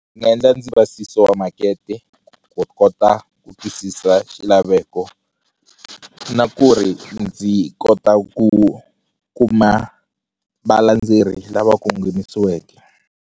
Ndzi nga endla ndzi wa makete ku kota ku twisisa xilaveko na ku ri ndzi kota ku kuma valandzeri lava kongomisiweke.